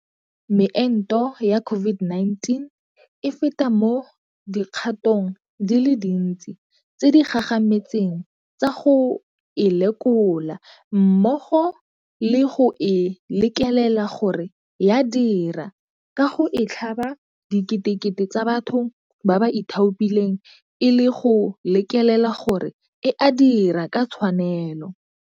Meento ya COVID-19 e feta mo dikgatong di le dintsi tse di gagametseng tsa go e lekola, mmogo le go e lekelela gore ya dira ka go e tlhaba diketekete tsa batho ba ba ithaopileng e le go lekelela gore a e dira ka tshwanelo.